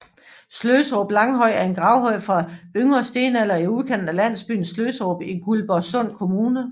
Sløserup Langhøj er en gravhøj fra yngre stenalder i udkanten af landsbyen Sløsserup i Guldborgsund Kommune